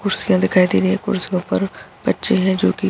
कुर्सियाँ दिखाई दे रही हैं कुर्सियो पर बच्चे हैं जो की --